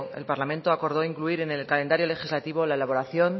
el parlamento acordó incluir en el calendario legislativo la elaboración